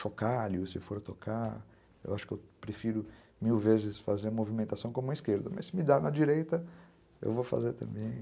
chocalho, se for tocar, eu acho que eu prefiro mil vezes fazer movimentação com a mão esquerda, mas se me dá na direita, eu vou fazer também.